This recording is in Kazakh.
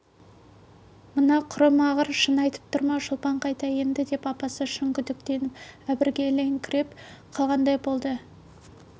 мына құрымағыр шын айтып тұр ма шолпан қайда енді деп апасы шын күдіктеніп әбігерленіңкіреп қалғандай болды